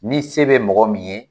Ni se be mɔgɔ min ye